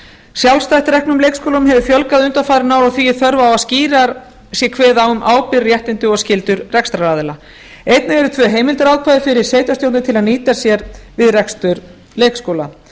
sjálfstætt reknum leikskólum hefur fjölgað undanfarin ár og því er þörf á að skýrar sé kveðið á um ábyrgð réttindi og skyldur rekstraraðila einnig eru tvo heimildarákvæði fyrir sveitarstjórnir til að nýta sér við rekstur leikskóla